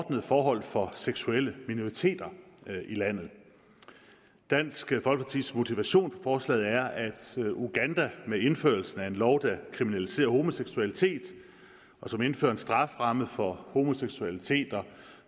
ordnede forhold for seksuelle minoriteter i landet dansk folkepartis motivation forslaget er at uganda med indførelsen af en lov der kriminaliserer homoseksualitet og som indfører en strafferamme for homoseksualitet